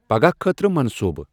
پگہہ خٲطرٕ منصوٗبہٕ ۔